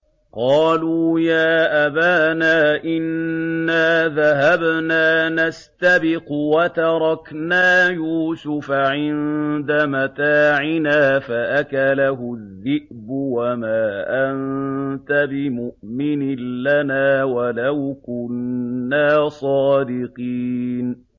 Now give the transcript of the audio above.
قَالُوا يَا أَبَانَا إِنَّا ذَهَبْنَا نَسْتَبِقُ وَتَرَكْنَا يُوسُفَ عِندَ مَتَاعِنَا فَأَكَلَهُ الذِّئْبُ ۖ وَمَا أَنتَ بِمُؤْمِنٍ لَّنَا وَلَوْ كُنَّا صَادِقِينَ